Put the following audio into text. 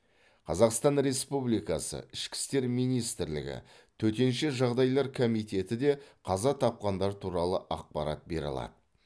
қазақстан республикасы ішкі істер министрлігі төтенше жағдайлар комитеті де қаза тапқандар туралы ақпарат бере алады